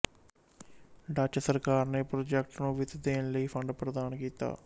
Dutch ਸਰਕਾਰ ਨੇ project ਨੂੰ ਵਿੱਤ ਦੇਣ ਲਈ ਫੰਡ ਪ੍ਰਦਾਨ ਕੀਤਾ